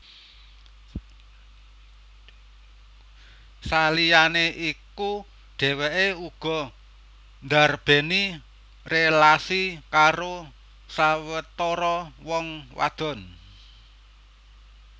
Saliyané iku dhèwèké uga ndarbèni rélasi karo sawetara wong wadon